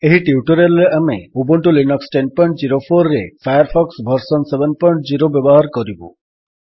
ଏହି ଟ୍ୟୁଟୋରିଆଲ୍ ରେ ଆମେ ଉବୁଣ୍ଟୁ ଲିନକ୍ସ ୧୦୦୪ରେ ଫାୟାରଫକ୍ସ ଭର୍ସନ୍ ୭୦ ବ୍ୟବହାର କରିବୁ